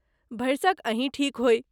भरिसक अहीँ ठीक होइ।